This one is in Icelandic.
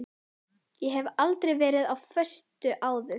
Ég hef aldrei verið á föstu áður.